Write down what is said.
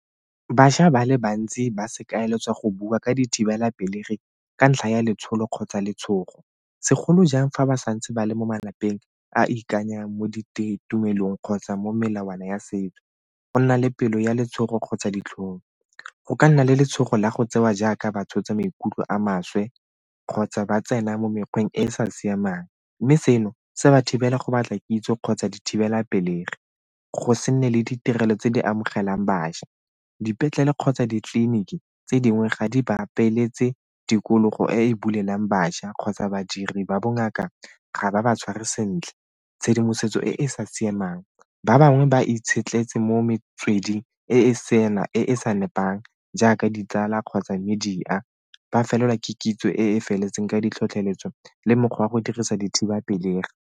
Bašwa ba le bantsi ba seka go bua ka dithibelapelegi ka ntlha ya letsholo kgotsa letshogo segolo jang fa ba santse ba le mo malapeng a ikanyang mo tumelong kgotsa mo melawana ya setso. Go nna le pelo ya letshogo kgotsa ditlhong go ka nna le letshogo la go tsewa jaaka batho tsa maikutlo a maswe kgotsa ba tsena mo mekgweng e e sa siamang mme seno se ba thibela go batla kitso kgotsa go dithibelapelegi. Go se nne le ditirelo tse di amogelang bašwa, dipetlele kgotsa ditleliniki tse dingwe ga di ba tikologo e e bulelang bašwa kgotsa badiri ba bongaka ga ba ba tshware sentle. Tshedimosetso e e sa siamang ba bangwe ba itshetlheletsa mo metsweding e sena e e sa nepang jaaka ditsala kgotsa media ba felelwa ke kitso e e feletseng ka ditlhotlheletso le mokgwa wa go dirisa dithibapelegi.